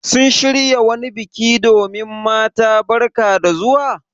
Sun shirya wani biki domin mata barka da zuwa?